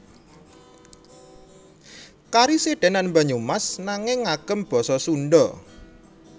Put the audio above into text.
Karasidenan Banyumas nanging ngagem basa Sundha